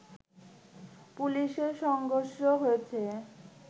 পুলিশের সংঘর্ষ হয়েছে